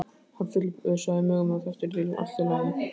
Hann fullvissaði mig um að þetta yrði allt í lagi.